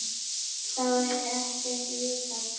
Þá er ekkert vitað.